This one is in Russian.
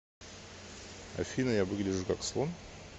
афина я выгляжу как слон